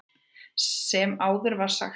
Sem áður var sagt frá.